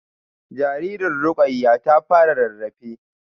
Jaririn Rukayyah ta fara rarrafe